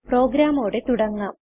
പ്രോഗ്രാമോടെ തുടങ്ങാം